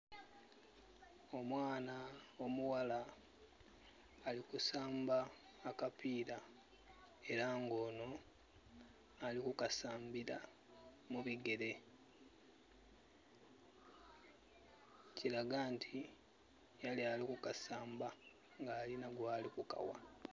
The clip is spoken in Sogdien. Omwaana omughala ali kusamba akapira era ngo nho alikukasambira mu bigere, kilaga nti yali ali kukasamba nga alinha gwali kukaghereza.